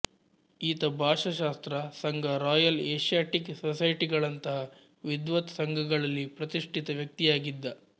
ಈತ ಭಾಷಾಶಾಸ್ತ್ರ ಸಂಘ ರಾಯಲ್ ಏಷ್ಯಾಟಿಕ್ ಸೊಸೈಟಿಗಳಂಥ ವಿದ್ವತ್ ಸಂಘಗಳಲ್ಲಿ ಪ್ರತಿಷ್ಠಿತ ವ್ಯಕ್ತಿಯಾಗಿದ್ದ